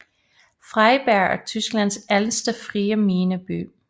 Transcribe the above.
Freiberg er Tysklands ældste frie mineby